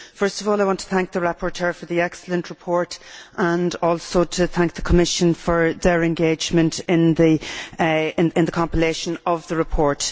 First of all, I want to thank the rapporteur for the excellent report and also to thank the Commission for its engagement in the compilation of the report.